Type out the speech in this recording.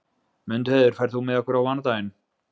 Mundheiður, ferð þú með okkur á mánudaginn?